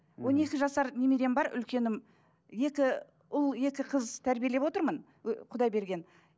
он екі жасар немерем бар үлкенім екі ұл екі қыз тәрбиелеп отырмын ы құдай берген